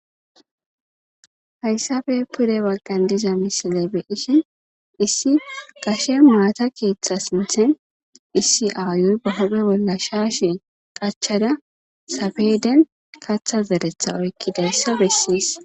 hayssafe pure waggan diza misile beishin issi gashe maata keeththa sinthin issi aayuy ba hupe bolla shaashe qachada sabeden katha zeretha oykkidayssa bessiis